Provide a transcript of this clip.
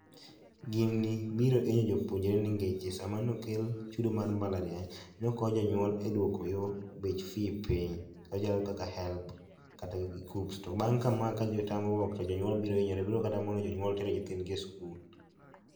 Gini biro hinyo jopuonjre nikech sama nokel chudo mar mbalariany nokonyo jonyuol e duoko yoo bech fee piny machalo kaka helb kata gi kuccps to bang' kama ka nyo tamruok to jonyuol bro hinyore bro kata mono jonyuol tero nyithindni e skul.